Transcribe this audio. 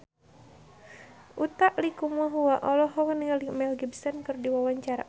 Utha Likumahua olohok ningali Mel Gibson keur diwawancara